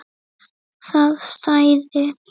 Það stæði.